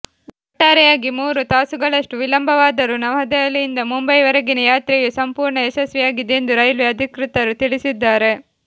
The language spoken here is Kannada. ಒಟ್ಟಾರೆಯಾಗಿ ಮೂರು ತಾಸುಗಳಷ್ಟು ವಿಳಂಬವಾದರೂ ನವದಹೆಲಿಯಿಂದ ಮುಂಬೈ ವರೆಗಿನ ಯಾತ್ರೆಯು ಸಂಪೂರ್ಣ ಯಶಸ್ವಿಯಾಗಿದೆ ಎಂದು ರೈಲ್ವೆ ಅಧಿಕೃತರು ತಿಳಿಸಿದ್ದಾರೆ